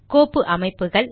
கோப்பு அமைப்புகள்